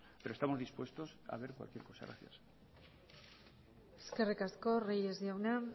pero estamos dispuestos a ver cualquier cosa muchas gracias eskerrik asko reyes jauna